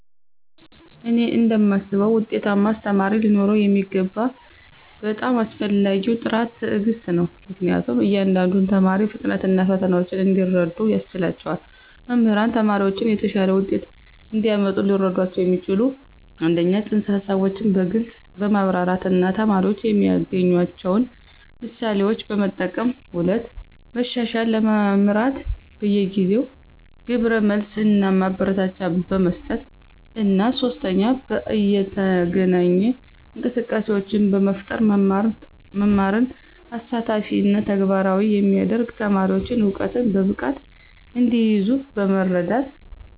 እኔ እንደማስበው ውጤታማ አስተማሪ ሊኖረው የሚገባው በጣም አስፈላጊው ጥራት ትዕግስት ነው, ምክንያቱም የእያንዳንዱን ተማሪ ፍጥነት እና ፈተናዎች እንዲረዱ ያስችላቸዋል. መምህራን ተማሪዎችን የተሻለ ውጤት እንዲያመጡ ሊረዷቸው የሚችሉት - 1) ፅንሰ-ሀሳቦችን በግልፅ በማብራራት እና ተማሪዎች የሚያገናኟቸውን ምሳሌዎችን በመጠቀም፣ 2) መሻሻልን ለመምራት በየጊዜው ግብረ መልስ እና ማበረታቻ በመስጠት፣ እና 3) በይነተገናኝ እንቅስቃሴዎችን በመፍጠር መማርን አሳታፊ እና ተግባራዊ የሚያደርግ፣ ተማሪዎች እውቀትን በብቃት እንዲይዙ በመርዳት።